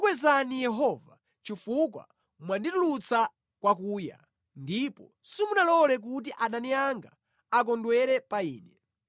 Ndidzakukwezani Yehova, chifukwa mwanditulutsa kwakuya, ndipo simunalole kuti adani anga akondwere pa ine.